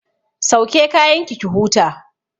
Sauke kayanki ki huta!